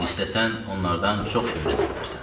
İstəsən onlardan çox şey öyrənə bilərsən.